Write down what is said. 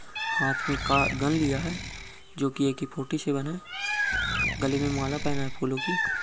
हाथ में का गन लिया है जो कि ए.के. फोर्टी सेवेन है गले में माला पहना है फूलों की।